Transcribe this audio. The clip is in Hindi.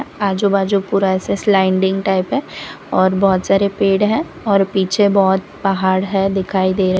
आजू बाजू पूरा ऐसे स्लाइडिंग टाइप है और बहुत सारे पेड़ है और पीछे बहुत पहाड़ है दिखाई दे रहे--